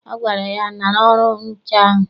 Ọ gwara ya, nara ọrụ nche ahụ!